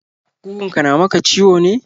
Ƙugunka na maka ciwo ne?